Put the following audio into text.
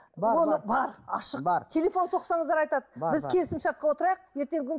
оны бар ашық бар телефон соқсаңыздар айтады біз келісімшартқа отырайық ертеңгі күні